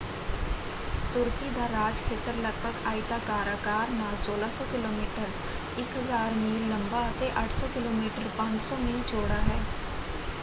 ਤੁਰਕੀ ਦਾ ਰਾਜਖੇਤਰ ਲਗਭਗ ਆਇਤਾਕਾਰ ਆਕਾਰ ਨਾਲ 1,600 ਕਿਲੋਮੀਟਰ 1,000 ਮੀਲ ਲੰਬਾ ਅਤੇ 800 ਕਿਲੋਮੀਟਰ 500 ਮੀਲ ਚੌੜਾ ਹੈ।